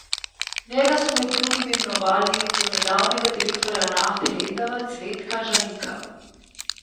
V njega so med drugim imenovali donedavnega direktorja Nafte Lendava Cvetka Žalika.